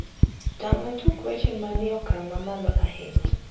tang`na tuke weche manie okang` ma malo ahinya